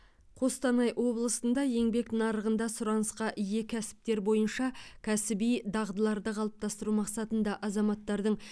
қостанай облысында еңбек нарығында сұранысқа ие кәсіптер бойынша кәсіби дағдыларды қалыптастыру мақсатында азаматтардың